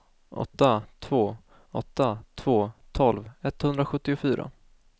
åtta två åtta två tolv etthundrasjuttiofyra